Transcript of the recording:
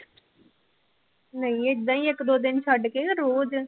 ਨਹੀਂ ਏਦਾਂ ਹੀ ਇੱਕ ਦੋ ਦਿਨ ਛੱਡ ਕੇ ਰੋਜ਼।